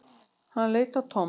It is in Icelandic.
Hann leit á Tom.